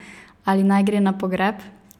Ali naj gre na pogreb?